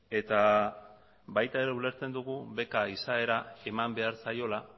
eta baita ere ulertzen dugu beka izaera eman behar zaiola